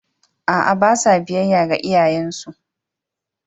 A’a, ba sa biyayya ga iyayensu.